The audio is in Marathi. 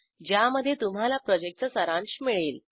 ज्यामध्ये तुम्हाला प्रॉजेक्टचा सारांश मिळेल